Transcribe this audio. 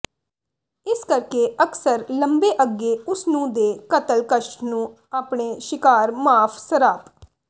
ਇਸ ਕਰਕੇ ਅਕਸਰ ਲੰਬੇ ਅੱਗੇ ਉਸ ਨੂੰ ਦੇ ਕਤਲ ਕਸ਼ਟ ਨੂੰ ਆਪਣੇ ਸ਼ਿਕਾਰ ਮਾਫ਼ ਸਰਾਪ